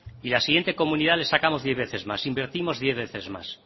y a la siguiente comunidad le sacamos diez veces más invertimos diez veces más